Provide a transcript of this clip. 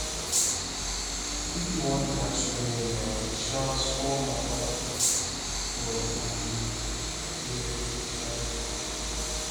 if you wan relax your hair na um small matter for um here um